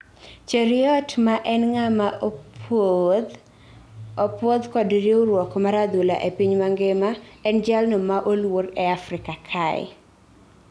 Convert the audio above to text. Cheruiyot ma en ngama opuodh kod riwruok mar adhula e piny mangima, en jalno ma oluor e Afrika kae